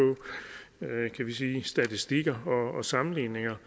statistikker og sammenligninger